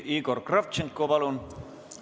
Igor Kravtšenko, palun!